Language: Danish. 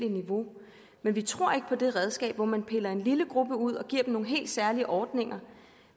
niveau men vi tror ikke på det redskab hvor man piller en lille gruppe ud og giver dem nogle helt særlige ordninger